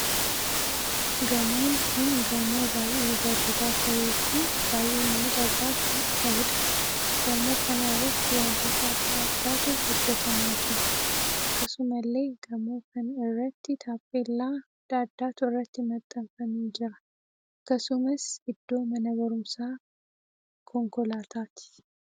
Gamoon kun gamoo baay'ee bareedaa tahee fi baay'ee miidhagaa kan taheedha. gamoo kana irratti wantoota addaa addaatu hojjetamaa jira. akkasumallee gamoo kan irratti taaphellaa addaa addaatu irratti maxxanfamee jira. akkasumas iddoo mana barumsaa konkolaattotaati.